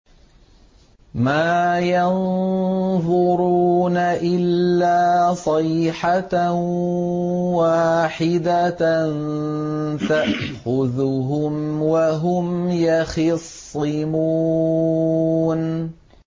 مَا يَنظُرُونَ إِلَّا صَيْحَةً وَاحِدَةً تَأْخُذُهُمْ وَهُمْ يَخِصِّمُونَ